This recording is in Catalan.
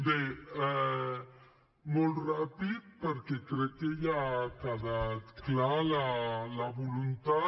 bé molt ràpid perquè crec que ja n’ha quedat clara la voluntat